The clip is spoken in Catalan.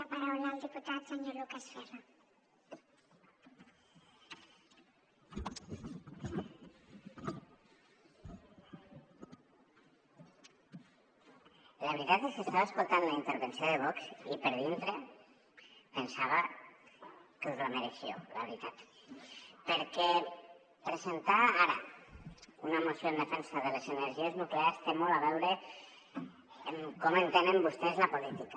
la veritat és que estava escoltant la intervenció de vox i per dintre pensava que us la mereixíeu la veritat perquè presentar ara una moció en defensa de les energies nuclears té molt a veure en com entenen vostès la política